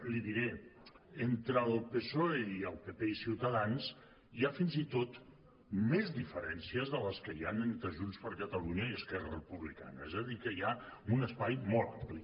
li diré entre el psoe i el pp i ciutadans hi ha fins i tot més diferèn·cies de les que hi han entre junts per catalunya i esquerra republicana és a dir que hi ha un espai molt ampli